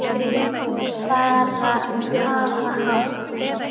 Já, bara hafa hátt.